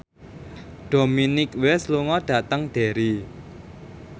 Dominic West lunga dhateng Derry